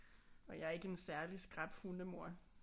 Og jeg er ikke en særlig skrap hundemor